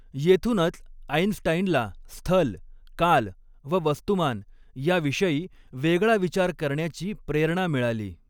येथूनच आइन्स्टाईनला स्थल, काल व वस्तुमान याविषयी वेगळा विचार करण्याची प्रेरणा मिळाली.